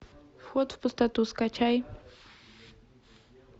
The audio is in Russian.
вход в пустоту скачай